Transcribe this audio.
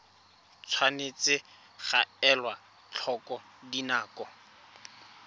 tshwanetse ga elwa tlhoko dinako